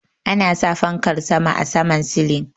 Ana sa Fankar sama a saman silin.